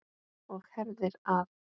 Og herðir að.